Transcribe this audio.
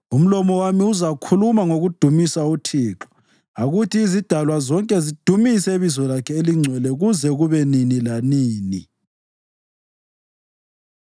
Umlomo wami uzakhuluma ngokudumisa uThixo. Akuthi izidalwa zonke zidumise ibizo lakhe elingcwele kuze kube nini lanini.